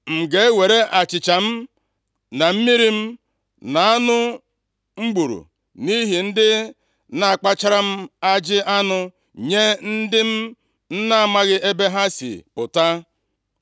M ga-ewere achịcha m, na mmiri m, na anụ m gburu nʼihi ndị na-akpachara m ajị anụ nye ndị m na-amaghị ebe ha sị pụta?”